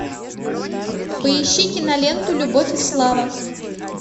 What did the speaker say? поищи киноленту любовь и слава